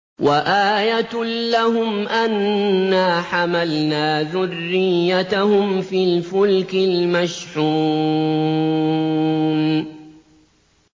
وَآيَةٌ لَّهُمْ أَنَّا حَمَلْنَا ذُرِّيَّتَهُمْ فِي الْفُلْكِ الْمَشْحُونِ